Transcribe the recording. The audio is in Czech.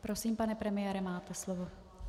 Prosím, pane premiére, máte slovo.